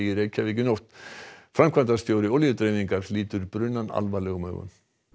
í nótt framkvæmdastjóri Olíudreifingar lítur brunann alvarlegum augum